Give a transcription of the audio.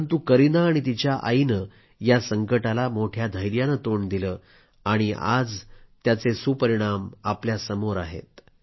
परंतु करीना आणि तिच्या आईनं या संकटाला मोठ्या धैर्यानं तोंड दिलं आणि आज त्याचे सुपरिणाम आपल्या सर्वांसमोर आहेत